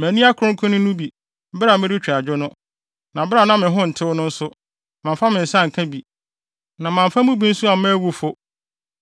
Manni akronkronne no bi bere a meretwa adwo no, na bere a na me ho ntew no nso, mamfa me nsa anka bi; na mamfa mu bi nso amma awufo.